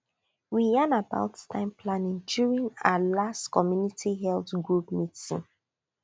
we yan about time planning planning during our last community health group meeting